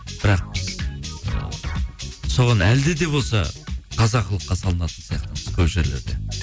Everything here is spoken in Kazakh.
бірақ біз соған әлде де болса қазаққылыққа салынатын сияқтымыз көп жерлерде